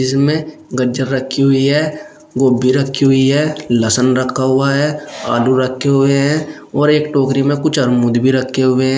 जिसमे गज्जर रखी हुई है गोभ्भी रखी हुई है लहसन रखा हुआ है आलू रखे हुए हैं और एक टोकरी में कुछ अरमूद रखे हुए हैं।